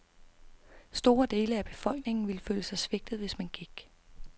Store dele af befolkningen ville føle sig svigtet, hvis man gik .